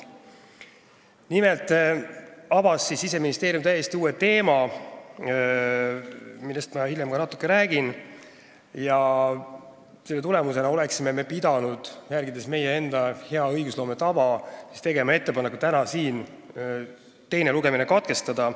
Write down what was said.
Nimelt avas Siseministeerium täiesti uue teema, millest ma hiljem ka natuke räägin, ja selle tulemusena oleksime me pidanud, järgides meie enda head õigusloome tava, täna tegema ettepaneku siin teine lugemine katkestada.